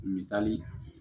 Misali